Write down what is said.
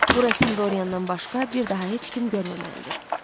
Bu rəsmi Dorian-dan başqa bir daha heç kim görməməlidir.